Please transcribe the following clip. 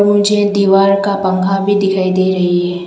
मुझे दीवार का पंखा भी दिखाई दे रही है।